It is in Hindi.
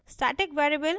static keyword